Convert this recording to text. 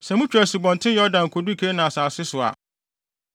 “Sɛ mutwa Asubɔnten Yordan kodu Kanaan asase so a,